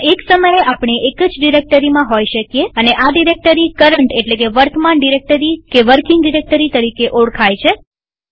પણ એક સમયે આપણે એક જ ડિરેક્ટરીમાં હોઈ શકીએ અને આ ડિરેક્ટરી કરન્ટવર્તમાન ડિરેક્ટરી કે વર્કિંગ ડિરેક્ટરી તરીકે ઓળખાય છે